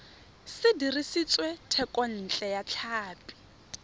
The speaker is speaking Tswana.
se dirisitswe thekontle ya tlhapi